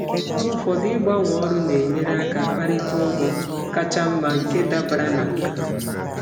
Mgbe ụfọdụ, ịgbanwe ọrụ na-enyere aka ịkparịta ụgwọ ọrụ ka mma nke dabara na nkà m.